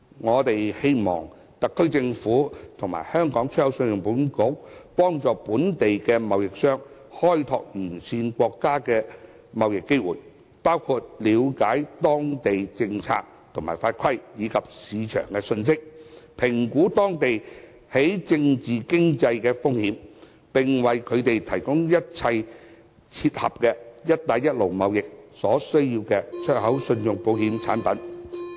我們希望特區政府和信保局幫助本地貿易商開拓沿線國家的貿易機會，包括了解當地政策和法規，以及市場的信息，評估當地政治和經濟風險，並為他們提供一切切合"一帶一路"貿易所需的出口信用保險產品。